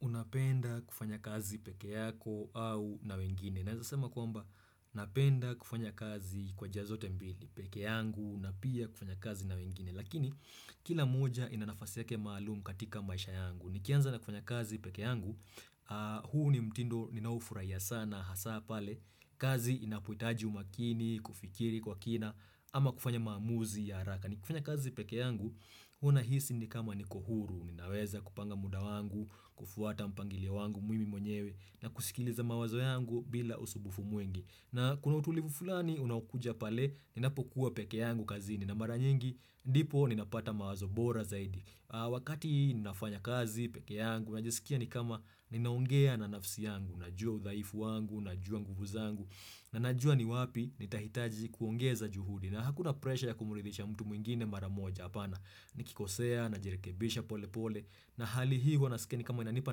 Unapenda kufanya kazi peke yako au na wengine. Naizasema kwamba napenda kufanya kazi kwa jia zote mbili peke yangu na pia kufanya kazi na wengine. Lakini kila moja ina nafasi yake malumu katika maisha yangu. Nikianza na kufanya kazi peke yangu, huu ni mtindo ninaoufurahiya sana hasa pale. Kazi inapohitaji umakini, kufikiri kwa kina ama kufanya mamuzi ya haraka. Nikifanya kazi peke yangu, huwa nahisi ni kama niko huru. Ninaweza kupanga muda wangu, kufuata mpangilio wangu mimi mwenyewe na kusikiliza mawazo yangu bila usumbufu mwingi na kuna utulivu fulani unaokuja pale, ninapokuwa peke yangu kazini na mara nyingi, ndipo ninapata mawazo bora zaidi Wakati ninafanya kazi, peke yangu, najisikia ni kama ninaongea na nafsi yangu, najua uthaifu wangu, najua nguvu zangu Nanajua ni wapi nitahitaji kuongeza juhudi na hakuna presha ya kumuridhisha mtu mwingine maramoja apana Nikikosea, najirikebisha pole pole na hali hii huwanasikia kama inanipa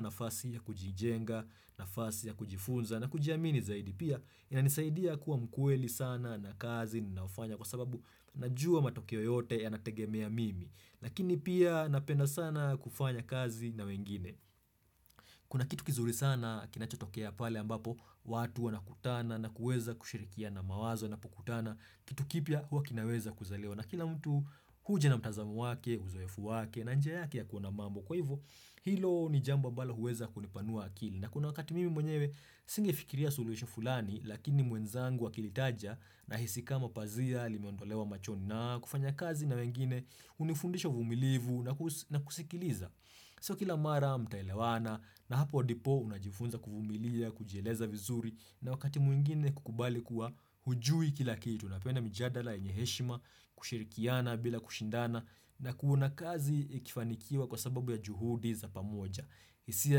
nafasi ya kujijenga, nafasi ya kujifunza na kujiamini zaidi pia inanisaidia kuwa mkweli sana na kazi ninayofanya kwa sababu najua matokeo yote ya nategemea mimi Lakini pia napenda sana kufanya kazi na wengine Kuna kitu kizuri sana kinachotokea pale ambapo watu wanakutana na kuweza kushirikiana mawazo wanapokutana. Kitu kipya huwaa kinaweza kuzaliwa na kila mtu huja na mtazamo wake, uzoefu wake na njia yake ya kuona mambo. Kwa hivo hilo ni jambo ambalo huweza kunipanua akili. Na kuna wakati mimi mwenyewe singe fikiria suluhisho fulani, lakini mwenzangu akilitaja na hisi kama pazia, limeondolewa machoni, na kufanya kazi na wengine, hunifundisha uvumilivu na kusikiliza. Siyo kila mara mtaelewana na hapo ndipo unajifunza kuvumilia, kujieleza vizuri na wakati mwingine kukubali kuwa hujui kila kitu. Napenda mijadala yenye heshima kushirikiana bila kushindana na kuona kazi ikifanikiwa kwa sababu ya juhudi za pamoja. Hisia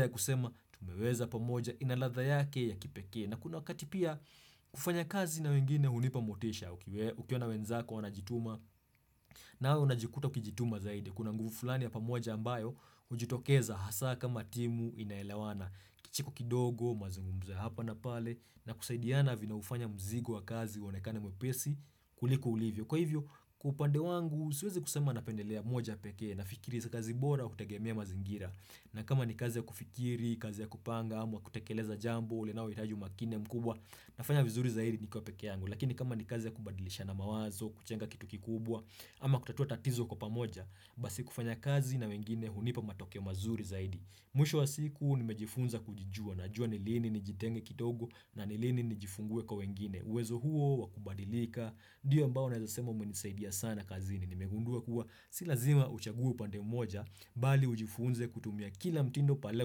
ya kusema tumeweza pamoja inaladha yake ya kipekee. Na kuna wakati pia kufanya kazi na wengine hunipamotisha. Ukiona wenzako wanajituma nawe unajikuta ukijituma zaidi. Kuna nguvu fulani ya pamoja ambayo hujitokeza hasa kama timu inaelewana. Kicheko kidogo mazungumzo ya hapa na pale na kusaidiana vina ufanya mzigo wa kazi uonekane mwepesi. Kuliko ulivyo. Kwa hivyo, kwa upande wangu, siwezi kusema napendelea moja pekee na fikiria kazi bora hutegemia mazingira. Na kama ni kazi ya kufikiri, kazi ya kupanga, ama kutekeleza jambo, linalo hitaji umakini mkubwa, nafanya vizuri zaidi nikiwa peke yangu. Lakini kama ni kazi ya kubadilishana mawazo, kujenga kitu kikubwa, ama kutatua tatizo kwa pamoja, basi kufanya kazi na wengine hunipa matoke mazuri zaidi. Mwisho wa siku nimejifunza kujijua najua nilini nijitenge kidogo na nilini nijifungue kwa wengine. Uwezo huo, wakubadilika, ndiyo ambao naeza sema umenisaidia sana kazini. Nimegundua kuwa silazima uchague upande mmoja bali ujifunze kutumia kila mtindo pale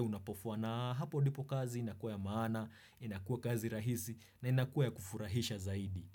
unapofaa na hapo ndipo kazi inakuwa ya maana, inakuwa kazi rahisi na inakuwa ya kufurahisha zaidi.